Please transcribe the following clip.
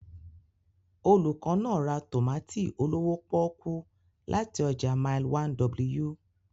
Olùkọ́ náà ra tòmátì olówó pọ́ọ́kú láti ọjà Mile 1w.